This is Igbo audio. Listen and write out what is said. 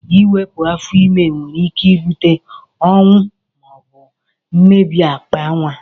Iwepu afọ ime nwere ike ibute ọnwụ ma obu mmebi akpa nwa.